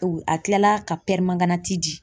A kilala ka di.